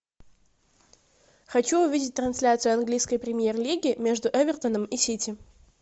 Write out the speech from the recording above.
хочу увидеть трансляцию английской премьер лиги между эвертоном и сити